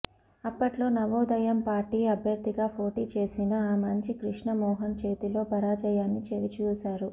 అప్పట్లో నవోదయం పార్టీ అభ్యర్థిగా పోటీ చేసిన ఆమంచి కృష్ణ మోహన్ చేతిలో పరాజయాన్ని చవి చూశారు